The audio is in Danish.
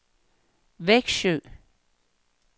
Vexjö